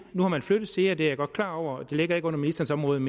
nu har man flyttet sea det er jeg godt klar over det ligger ikke under ministerens